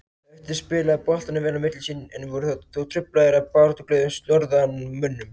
Höttur spilaði boltanum vel á milli sín, en voru þó truflaðir af baráttuglöðum norðanmönnum.